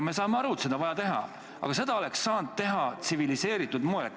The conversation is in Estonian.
Me saame aru, et seda eelnõu on vaja, aga seda oleks saanud teha tsiviliseeritud moel.